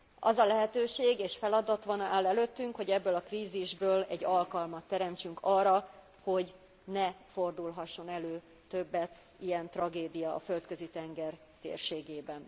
Az a lehetőség és feladat áll előttünk, hogy ebből a krízisből egy alkalmat teremtsünk arra, hogy ne fordulhasson elő többet ilyen tragédia a Földközi tenger térségében.